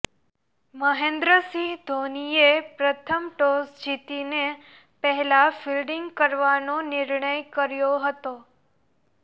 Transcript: મહેન્દ્રસિંહ ધોનીએ પ્રથમ ટોસ જીતીને પહેલા ફિલ્ડિંગ કરવાનો નિર્ણય કર્યો હતો